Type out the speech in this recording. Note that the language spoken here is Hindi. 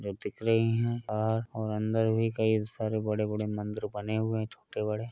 जो दिख रहीं हैं और और अन्दर भी कई सरे बड़े-बड़े मंदिर बने हुए हैं छोटे बड़े।